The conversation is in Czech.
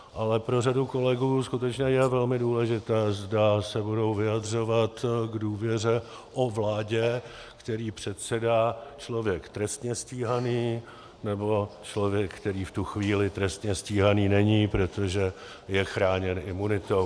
Ale pro řadu kolegů skutečně je velmi důležité, zda se budou vyjadřovat k důvěře o vládě, které předsedá člověk trestně stíhaný, nebo člověk, který v tu chvíli trestně stíhaný není, protože je chráněn imunitou.